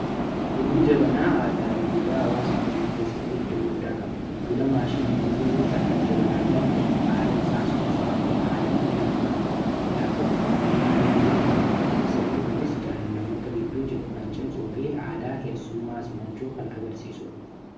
bunni jabanaa aadaa fi duudhaa hawaasa keenyaa keessatti eddoo guddaa qabu bunamaashiniin dhuguu irra kan jabanaan danfe aara isaa suufaa fi haala miira namaa hawwatuu hin dhi'aatu namoonni baay'een ni filatu sirni kunis jaalanamoota gidduu jiru kan cimsuu fi aadaa keessummaa simachuu kan agarsiisuudha